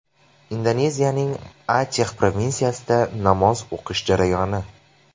Indoneziyaning Achex provinsiyasida namoz o‘qish jarayoni.